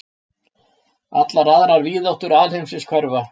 Allar aðrar víðáttur alheimsins hverfa.